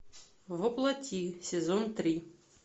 во плоти сезон три